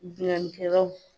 Binganni kɛlaw